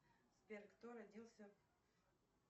сбер кто родился